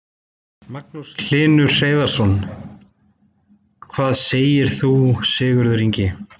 Magnús Hlynur Hreiðarsson: Hvað segir þú Sigurður Ingi?